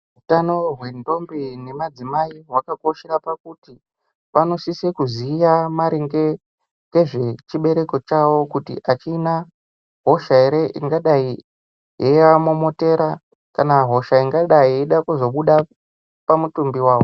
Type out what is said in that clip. Utano hwentombi nemadzimai hwakakoshere pakuti vanosise kuziya maringe ngezvechibereko chavo kuti achina hosha ere ingadai yeivamomotera kana hosha ingadai yeida kuzobuda pamutimbi wavo.